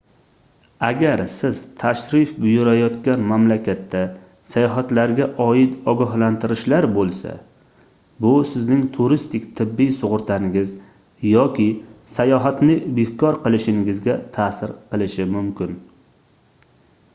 agar siz tashrif buyurayotgan mamlakatda sayohatlarga oid ogohlantirishlar boʻlsa bu sizning turistik tibbiy sugʻurtangiz yoki sayohatni bekor qilinishingizga taʼsir qilishi mumkin